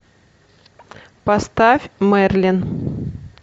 поставь мерлин